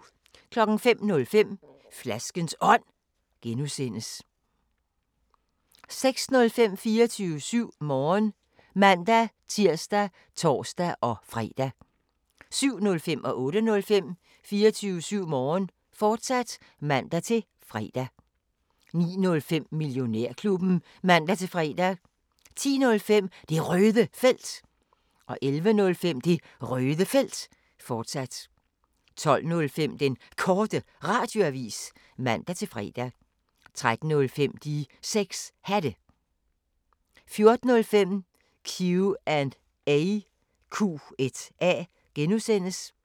05:05: Flaskens Ånd (G) 06:05: 24syv Morgen (man-tir og tor-fre) 07:05: 24syv Morgen, fortsat (man-fre) 08:05: 24syv Morgen, fortsat (man-fre) 09:05: Millionærklubben (man-fre) 10:05: Det Røde Felt 11:05: Det Røde Felt, fortsat 12:05: Den Korte Radioavis (man-fre) 13:05: De 6 Hatte 14:05: Q&A (G)